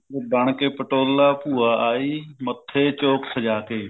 ਬਣ ਕੇ ਪਟੋਲਾ ਭੂਆ ਆਈ ਮੱਥੇ ਚੋਕ ਸਜ਼ਾ ਕੇ